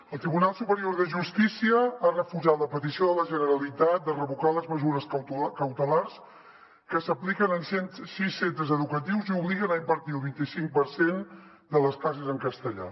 el tribunal superior de justícia ha refusat la petició de la generalitat de revocar les mesures cautelars que s’apliquen en sis centres educatius i obliguen a impartir el vint i cinc per cent de les classes en castellà